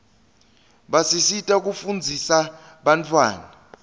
basisita kufundzisa bantawana